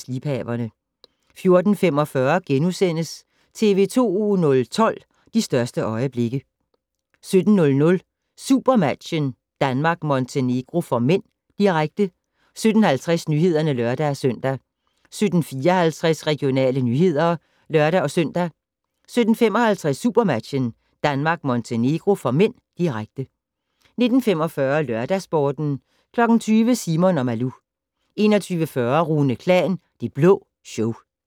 14:15: Liebhaverne * 14:45: TV 2 012: De største øjeblikke * 17:00: SuperMatchen: Danmark-Montenegro (m), direkte 17:50: Nyhederne (lør-søn) 17:54: Regionale nyheder (lør-søn) 17:55: SuperMatchen: Danmark-Montenegro (m), direkte 19:45: LørdagsSporten 20:00: Simon & Malou 21:40: Rune Klan: Det Blå Show